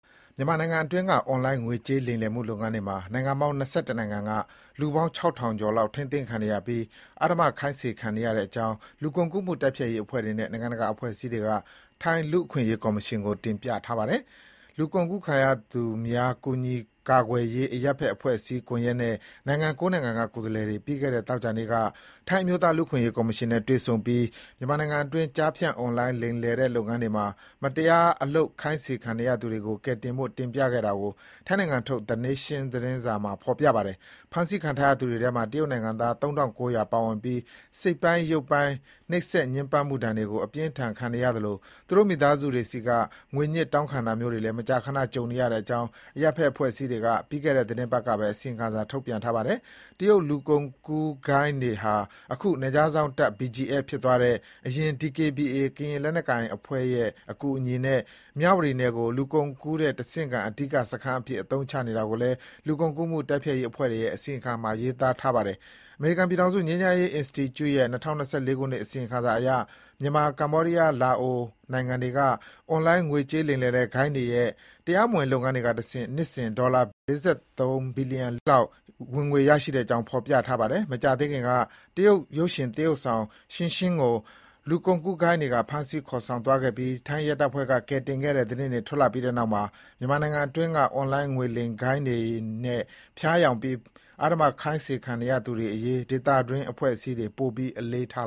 မြန်မာနိုင်ငံအတွင်းက အွန်လိုင်း ငွေကြေးလိမ်လည်မှု လုပ်ငန်းတွေမှာ နိုင်ငံပေါင်း ၂၁ နိုင်ငံက လူပေါင်း ၆,၀၀၀ ကျော်လောက် ထိန်းသိမ်းခံနေရပြီး အဓမ္မခိုင်းစေခံနေရတဲ့အကြောင်း လူကုန်ကူးမှုတိုက်ဖျက်ရေးအဖွဲ့တွေနဲ့ နိုင်ငံတကာ အဖွဲ့အစည်းတွေက ထိုင်း လူ့အခွင့်အရေးကော်မရှင်ကို တင်ပြထားပါတယ်။ လူကုန်ကူးခံရသူများ ကူညီကာကွယ်ရေး အရပ်ဖက် အဖွဲ့အစည်းကွန်ရက်နဲ့ နိုင်ငံ ၉ နိုင်ငံက ကိုယ်စားလှယ်တွေ ပြီးခဲ့တဲ့ သောကြာနေ့က ထိုင်း အမျိုးသားလူ့အခွင့်အရေး ကော်မရှင်နဲ့ တွေ့ဆုံပြီး မြန်မာနိုင်ငံတွင်း ကျားဖြန့် အွန်လိုင်းလိမ်လည်တဲ့လုပ်ငန်းတွေမှာ မတရား အလုပ်ခိုင်းခံနေရသူတွေကို ကယ်တင်ဖို့ တင်ပြခဲ့တာကို ထိုင်းနိုင်ငံထုတ် The Nation သတင်းစာမှာ ဖေါ်ပြပါတယ်။ ဖမ်းဆီးခံထားရသူတွေထဲမှာ တရုတ်နိင်ငံသား ၃,၉၀၀ ပါဝင်ပြီး စိတ်ပိုင်းရုပ်ပိုင်း နှိပ်စက်ညှဉ်းပန်းမှုဒဏ်တွေကို အပြင်းအထန် ခံနေရသလို သူတို့ မိသားစုတွေဆီက ငွေညှစ်တောင်းခံတာမျိုးတွေလည်း မကြာခဏ ကြုံနေရတဲ့အကြောင်း အရပ်ဖက်အဖွဲ့အစည်းတွေက ပြီးခဲ့တဲ့ သီတင်းပတ်ကပဲ အစီရင်ခံစာထုတ်ပြန်ထားပါတယ်။ တရုတ် လူကုန်ကူးဂိုဏ်းတွေဟာ အခု နယ်ခြားစောင့်တပ် BGF ဖြစ်သွားတဲ့ အရင် DKBA ကရင်လက်နက်ကိုင်အဖွဲ့တွေရဲ့ အကူအညီနဲ့ မြဝတီနယ်ကို လူကုန်ကူးတဲ့ တဆင့်ခံ အဓိကစခန်းအဖြစ် အသုံးချနေတာကိုလည်း လူကုန်ကူးမှု တိုက်ဖျက်ရး အဖွဲ့တွေရဲ့ အစီရင်ခံစာမှာ ရေးသားထားပါတယ်။ အမေရိကန်ပြည်ထောင်စု ငြိမ်းချမ်းရေးအင်စတီကျု့ရဲ့ ၂၀၂၄ ခုနှစ် အစီရင်ခံစာရ မြန်မာ၊ ကမ္ဘောဒီးယား၊ လာအို နိုင်ငံတွေက အွန်လိုင်း ငွေကြေးလိမ်လည်တဲ့ ဂိုဏ်းတွေရဲ့ တရားမဝင်လုပ်ငန်းတွေကတဆင့် နှစ်စဉ်ဝင်ငွေ ဒေါ်လာဘီလျံ ၄၃ သန်းကျော် ဝင်ငွေရနေတဲ့အကြောင်း ဖေါ်ပြထားပါတယ်။ မကြာသေးခင်က တရုတ်ရုပ်ရှင် သရုပ်ဆောင် Xingxing ကို လူကုန်ကူးဂိုဏ်းတွေက ဖမ်းဆီးခေါ်ဆောင်သွားခဲ့ပြီး ထိုင်းရဲတပ်ဖွဲ့က ကယ်တင်ခဲ့တဲ့ သတင်းထွက်လာပြီးနောက်မှာ မြန်မာနိုင်ငံအတွင်းက အွန်လိုင်းငွေလိမ်ဂိုဏ်းတွေနဲ့ ဖျားယောင်းပြီး အဓမ္မခိုင်းခံနေရသူတွေအရေး ဒေသတွင်းအဖွဲ့အစည်းတွေ ပိုပြီး အလေးထား